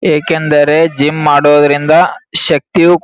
ಏಕೆಂದರೆ ಜಿಮ್ ಮಾಡೋದ್ರಿಂದ ಶಕ್ತಿಯು ಕು --